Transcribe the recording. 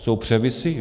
Jsou převisy?